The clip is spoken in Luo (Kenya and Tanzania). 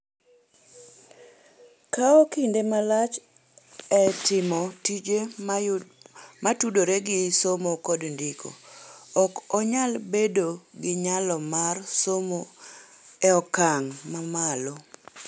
kawo kinde malach e timo tije motudore gi somo kod ndiko, ok onyal bedo gi nyalo mar somo e okang ' mamalo.